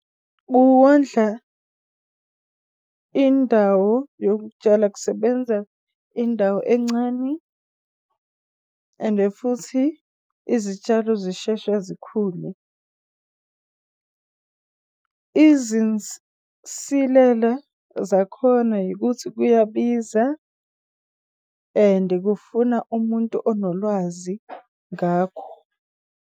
Kuwondla indawo yokutshala kusebenza indawo encane ende futhi izitshalo zishesha zikhule. izinsilela zakhona ukuthi kuyabiza, and kufuna umuntu onolwazi ngakho.